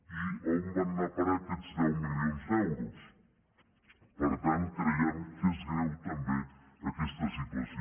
i on van anar a parar aquests deu milions d’euros per tant creiem que és greu també aquesta situació